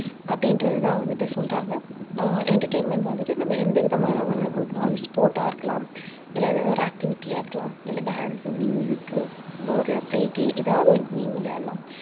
அப்படின்றதுதான் வந்துட்டு சொல்றாங்க அஹ் entertainment வந்துட்டு நம்ம எந்த விதமா வேணாலும் கொடுக்கலாம். அது sport ஆ இருக்கலாம். இல்லை ஏதாவது ஒரு activity ஆ இருக்கலாம். இல்லை dance, நம்ம ஒரு play ஏதாவது ஒரு game விளையாடலாம்